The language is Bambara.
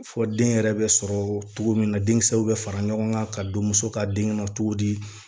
Fɔ den yɛrɛ bɛ sɔrɔ cogo min na denkisɛw bɛ fara ɲɔgɔn kan ka don muso ka den na cogo di